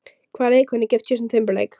Hvaða leikkona er gift Justin Timberlake?